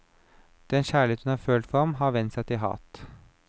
Den kjærlighet hun har følt for ham, har vendt seg til hat.